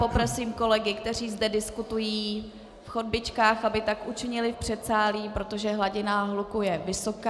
Poprosím kolegy, kteří zde diskutují v chodbičkách, aby tak učinili v předsálí, protože hladina hluku je vysoká.